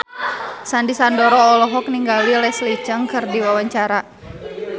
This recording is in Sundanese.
Sandy Sandoro olohok ningali Leslie Cheung keur diwawancara